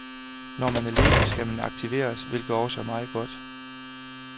Når man er ledig, skal man aktiveres, hvilket også er meget godt.